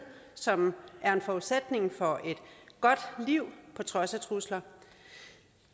som er en forudsætning for et godt liv på trods af trusler